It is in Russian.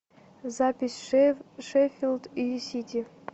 запись шеффилд и сити